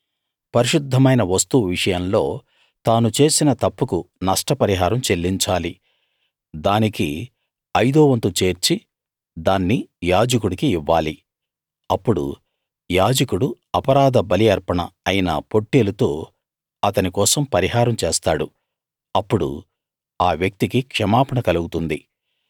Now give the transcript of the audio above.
పరిశుద్ధమైన వస్తువు విషయంలో తాను చేసిన తప్పుకు నష్ట పరిహారం చెల్లించాలి దానికి ఐదో వంతు చేర్చి దాన్ని యాజకుడికి ఇవ్వాలి అప్పుడు యాజకుడు అపరాధ బలి అర్పణ అయిన పొట్టేలుతో అతని కోసం పరిహారం చేస్తాడు అప్పుడు ఆ వ్యక్తికి క్షమాపణ కలుగుతుంది